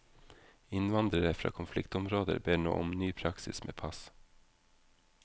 Innvandrere fra konfliktområder ber nå om ny praksis med pass.